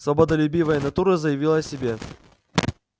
свободолюбивая натура заявила о себе